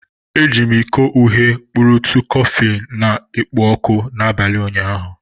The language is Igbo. Eji m iko uhie kpurutu kọfị na-ekpo ọkụ n'abalị ụnyaahụ.